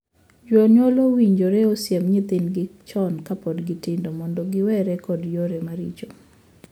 Jonyuol owinjore osiem nyithindegi chon kapod gitindo mondo giwere kod yore maricho.